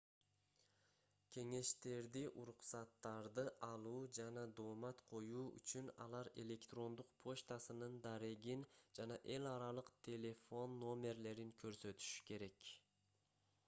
кеңештерди/уруксаттарды алуу жана доомат коюу үчүн алар электрондук почтасынын дарегин жана эл аралык телефон номерлерин көрсөтүшү керек